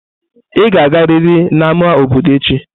Ị ga-agariri n'ámá obodo echi!